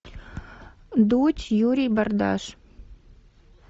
дудь юрий бардаш